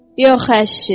Yox əşi.